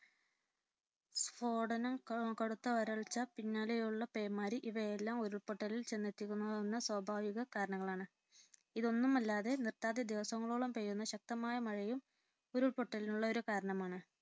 സ്ഫോടനം, കടുത്ത വരൾച്ച, പിന്നാലെയുള്ള പേമാരി ഇവയെല്ലാം ഉരുൾ പൊട്ടലിൽ ചെന്നെത്തിക്കാവുന്ന സ്വാഭാവിക കാരണങ്ങളാണ്. ഇതൊന്നുമല്ലാതെ നിർത്താതെ ദിവസങ്ങളോളം പെയ്യുന്ന ശക്തമായ മഴയും ഉരുൾപൊട്ടലിനുള്ള ഒരു കാരണമാണ്.